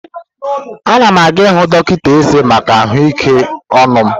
Anam aga ihụ dọkịta ezé maka ahụike ọnụ m.